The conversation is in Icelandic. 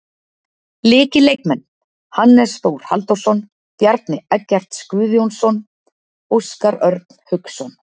Lykilleikmenn: Hannes Þór Halldórsson, Bjarni Eggerts Guðjónsson, Óskar Örn Hauksson.